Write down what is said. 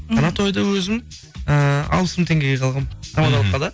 ана тойды өзім ы алпыс мың теңгеге алғанмын мхм тамадалыққа да